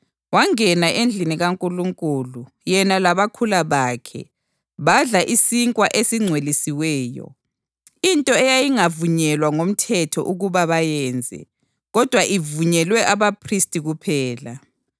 Wangena endlini kaNkulunkulu, yena labakhula bakhe, badla isinkwa esingcwelisiweyo, into eyayingavunyelwa ngomthetho ukuba bayenze, kodwa ivunyelwe abaphristi kuphela.